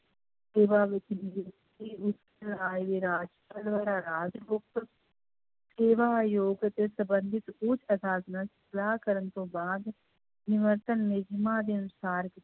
ਸੇਵਾ ਵਿੱਚ ਨਿਯੁਕਤੀ ਉਸ ਰਾਜ ਦੇ ਰਾਜਪਾਲ ਸੇਵਾ ਆਯੋਗ ਅਤੇ ਸੰਬੰਧਿਤ ਉੱਚ ਅਦਾਲਤ ਨਾਲ ਸਲਾਹ ਕਰਨ ਤੋਂ ਬਾਅਦ ਨਿਯਮਾਂ ਦੇ ਅਨੁਸਾਰ